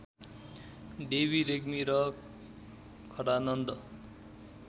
देवी रेग्मी र खडानन्द